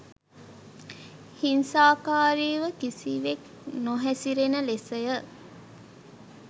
හිංසාකාරීව කිසිවෙක් නොහැසිරෙන ලෙසය.